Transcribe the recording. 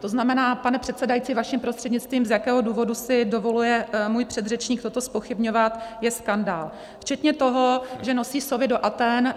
To znamená, pane předsedající, vaším prostřednictvím, z jakého důvodu si dovoluje můj předřečník toto zpochybňovat, je skandál, včetně toho, že nosí sovy do Athén.